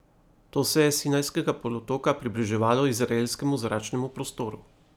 To se je s Sinajskega polotoka približevalo izraelskemu zračnemu prostoru.